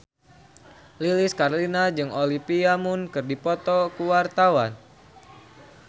Lilis Karlina jeung Olivia Munn keur dipoto ku wartawan